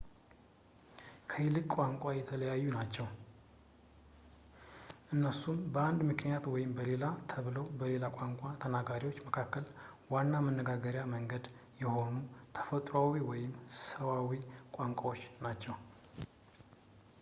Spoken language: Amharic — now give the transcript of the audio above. ከቅይጥ ቋንቋ የተለዩ ናችው፣ እነሱም ለአንድ ምክንያት ወይም ለሌላ ተብለው በሌላ ቋንቋ ተናጋሪዎች መካከል ዋና የመነጋገርያ መንገድ የሆኑ ተፈጥሮአዊ ወይም ሰዋዊ ቋንቋዎች ናቸው